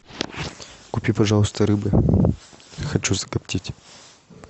купи пожалуйста рыбы хочу закоптить